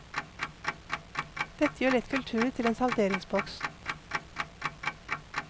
Dette gjør lett kultur til en salderingspost.